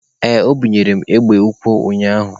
Ee, o bunyere m egbe ukwu ụnyaahụ.